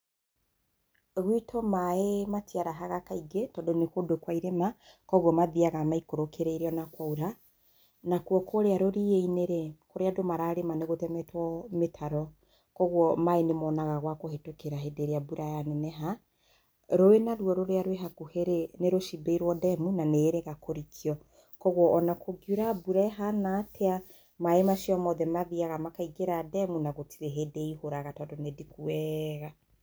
Gwitũ maĩ matiarahaga kaingĩ tondũ nĩ kũndũ kwa irĩma, koguo mathiaga maikũrũkĩrĩire o na kwaura, nakuo kũrĩa rũriĩ-inĩrĩ, kũrĩa andũ mararĩma nĩ gũtemetwo mĩtaro, koguo maĩ nĩ monaga gwa kũhĩtũkĩra hĩndĩ ĩrĩa mbura yaneneha, rũĩ naruo rũrĩa rwĩ hakuhĩ-rĩ nĩ rũcimbĩirwo demu na nĩ ĩrĩga kũrikio, koguo ona kũngiura mbura ihana atĩa, maĩ macio mothe mathiaga makaingĩra demu na gũtirĩ hĩndĩ ĩihũraga tondũ nĩ ndiku wega.